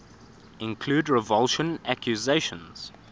include revulsion accusations